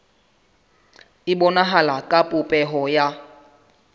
e bonahala ka popeho ya